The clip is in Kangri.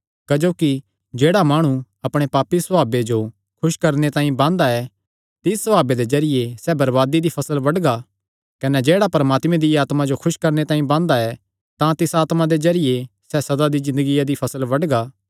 क्जोकि जेह्ड़ा माणु अपणे पापी सभावे जो खुस करणे तांई बांदा ऐ तिस सभावे दे जरिये सैह़ बरबादी दी फसल बड्डगा कने जेह्ड़ा परमात्मे दिया आत्मा जो खुस करणे तांई बांदा ऐ तां तिसा आत्मा दे जरिये सैह़ सदा दी ज़िन्दगिया दी फसल बड्डगा